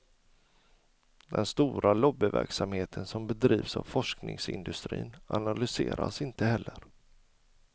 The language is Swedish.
Den stora lobbyverksamheten som bedrivs av forskningsindustrin analyseras inte heller.